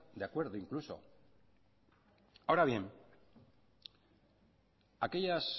de acuerdo incluso ahora bien aquellas